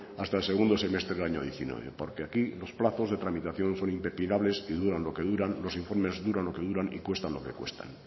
hasta el segundo semestre del año dos mil diecinueve porque aquí los plazos de tramitación son impepinables y duran lo que duran los informes duran lo que duran y cuestan lo que cuestan